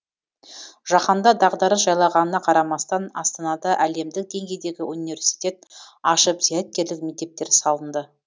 жаһанда дағдарыс жайлағанына қарамастан астанада әлемдік деңгейдегі университет ашып зияткерлік мектептер салынды